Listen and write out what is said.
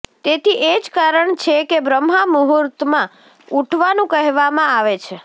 તેથી એ જ કારણ છે કે બ્રહ્મા મુહુર્તમાં ઉઠવાનું કહેવામાં આવે છે